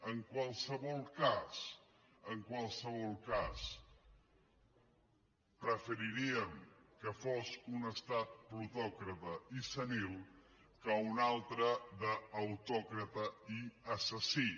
en qualsevol cas preferiríem que fos un estat plutòcrata i senil que un altre d’autòcrata i assassí